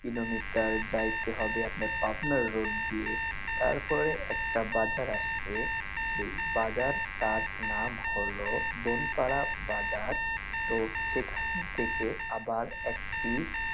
Kilometre যাইতে হবে আপনার পাবনার রোড দিয়ে তারপর একটা বাজার আসবে সেই বাজারটার নাম হল বনপাড়া বাজার তো সেখান থেকে আবার একটি।